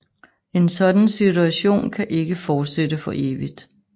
En sådan situation kan ikke fortsætte for evigt